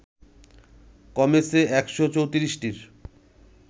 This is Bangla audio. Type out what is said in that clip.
কমেছে ১শ ৩৪টির